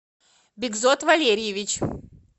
бикзот валерьевич